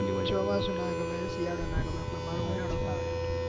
ચોમાસુ ના ગમે શિયાળોના ગમે પર મારો ઉનાળોજ આવે